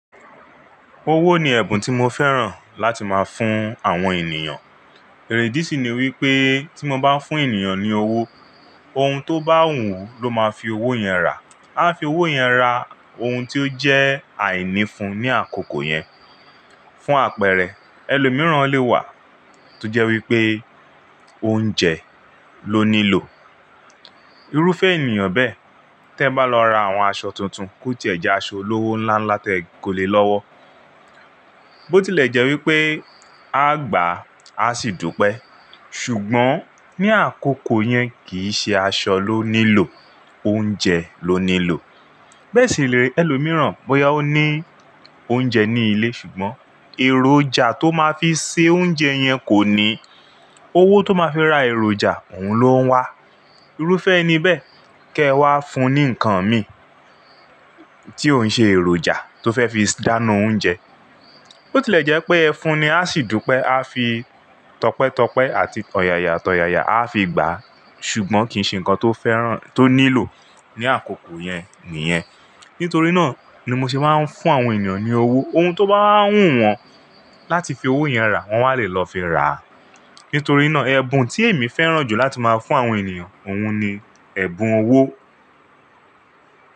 Owó ni ẹ̀bùn tí mo fẹ́ràn láti máa fún àwọn ènìyàn. Ìdí sì ni wípé tí mo bá ń fún ènìyàn ní owó, ohun tó bá wù ú ló máa fi owó yẹn rà. Áá fi owó yẹn ra ohun tí ó jẹ́ àíní fun ní àkókò yẹn. Fún àpẹẹrẹ, ẹlòmìíràn lè wà tó jẹ́ wípé oúnjẹ ló nílò. Irúfẹ́ ènìyàn bẹ́ẹ̀, tí ẹ bá lọ ra àwọn aṣọ tuntun kó tiẹ̀ jẹ́ aṣọ olówó ńlá ńlá tẹ́ẹ ko le lọ́wọ́. Bó tí lè jẹ́ wípé áá gbàá, á sì dúpẹ́. Ṣùgbọ́n ní àkókò yẹn kì í ṣe aṣọ ló nílò, oúnjẹ ló nílò. Bẹ́ẹ̀ sì lè rí ẹlòmìíràn bóyá ó ní oúnjẹ ní ilé ṣùgbọ́n èròjà tó máa fi sè oúnjẹ yẹn kò ní. Owó tó máa fi ra èròjà òun ló ń wá. Irúfẹ́ ẹni bẹ́ẹ̀ kẹ́ ẹ wá fun ní nǹkan mi ò ń ṣe èròjà tó fẹ́ fi dáná oúnjẹ. Bó tilẹ̀ jẹ́ pé ẹ fún ni a sì dúpẹ́, áá fi tọpẹ́tọpẹ́ àti tọ̀yàyàtọ̀yàyà áá fi gbà á, ṣùgbọ́n kì í ṣe nǹkan tó fẹ́ràn tó nílò ní àkókò yẹn nìyẹn. Nítorí náà ni mo ṣe máa ń fún àwọn ènìyàn ní owó. Ohun tó bá wá wù wọ́n láti fi owó yẹn rà, wọ́n wá lè lọ fi ràá. Nítorí náà ẹ̀bùn tí èmi fẹ́ràn jù láti máa fún àwọn ènìyàn, òun ni ẹ̀bùn owó.